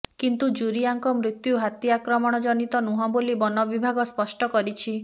କିନ୍ତୁ ଜୁରିଆଙ୍କ ମୃତ୍ୟୁ ହାତୀ ଆକ୍ରମଣ ଜନିତ ନୁହଁ ବୋଲି ବନ ବିଭାଗ ସ୍ପଷ୍ଟ କରିଛି